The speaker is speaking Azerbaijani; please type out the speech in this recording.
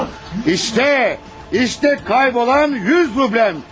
Bax, bax itmiş 100 rublum.